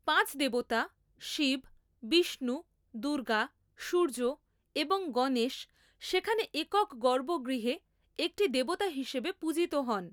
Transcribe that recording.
পাঁচ দেবতা শিব, বিষ্ণু, দুর্গা, সূর্য এবং গণেশ সেখানে একক গর্ভগৃহে একটি দেবতা হিসাবে পূজিত হন।